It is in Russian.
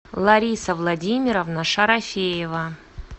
лариса владимировна шарафеева